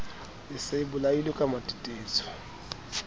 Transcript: e se e bolailwe kematetetso